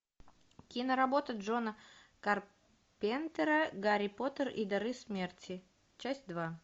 киноработа джона карпентера гарри поттер и дары смерти часть два